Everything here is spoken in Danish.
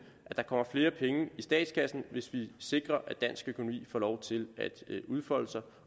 at der kommer flere penge i statskassen hvis vi sikrer at dansk økonomi få lov til at udfolde sig